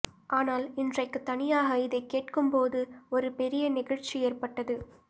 ஆனால் இன்றைக்குத் தனியாக இதைக்கேட்கும்போது ஒரு பெரிய நெகிழ்ச்சி ஏற்பட்டது